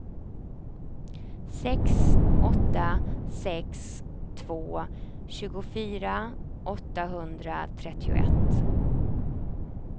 sex åtta sex två tjugofyra åttahundratrettioett